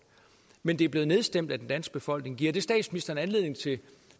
men de ting er blevet nedstemt af den danske befolkning giver det statsministeren anledning til